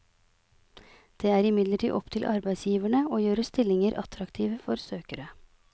Det er imidlertid opp til arbeidsgiverne å gjøre stillinger attraktive for søkere.